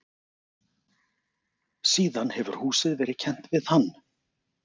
síðan hefur húsið verið kennt við hann